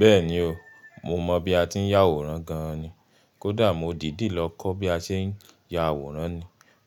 Bẹ́ẹ̀ni ọ, mọ mọ̀ bí a ti ń ya àwòrán gan-an ní. Kódà mọ dìdí lọ kọ́ bí a ṣe ń ya àwòrán ní.